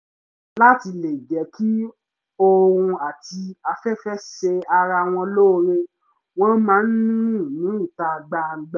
láti lè jẹ́ kí oòrùn àti afẹ́fẹ́ ṣe ara wọn lóore wọ́n máa ń rìn ní ìta gbangba